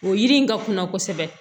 O yiri in ka kuna kosɛbɛ